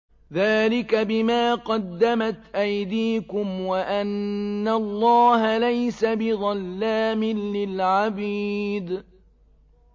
ذَٰلِكَ بِمَا قَدَّمَتْ أَيْدِيكُمْ وَأَنَّ اللَّهَ لَيْسَ بِظَلَّامٍ لِّلْعَبِيدِ